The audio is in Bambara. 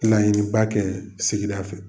Laɲiniba kɛ sigida fɛ.